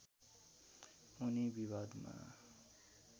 उनी विवादमा